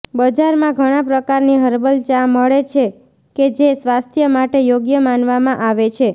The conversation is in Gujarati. બજારમાં ઘણા પ્રકારની હર્બલ ચા મળે છે કે જે સ્વાસ્થ્ય માટે યોગ્ય માનવામાં આવે છે